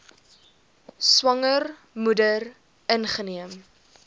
swanger moeder ingeneem